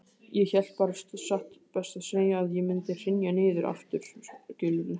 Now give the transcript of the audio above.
Ég hélt bara satt best að segja að ég mundi hrynja niður aftur, skilurðu.